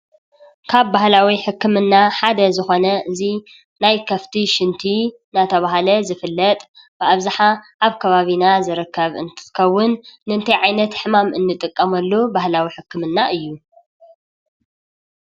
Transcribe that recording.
ካብ ባህላዊ ሕክምና ሓደ ዝኾነ እዙይ ናይ ከፍቲ ሽንቲ ዝናተባህለ ዝፍለጥ ብኣብዝሓ ከባቢና ዝርከብ እንትትኸውን ንምንታይ ዓይነት ሕማም ንጥቀመሉ ባህላዊ ሕክምና እዩ?